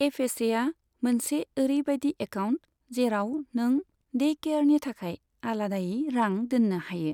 एफएसएआ मोनसे ओरैबायदि एकाउन्ट जेराव नों डे केयारनि थाखाय आलादायै रां दोन्नो हायो।